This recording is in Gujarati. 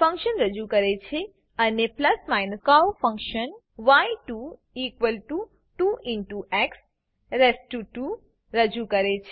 ફંક્શન રજુ કરે છે અને કર્વ ફંક્શન y22x2 રજુ કરે છે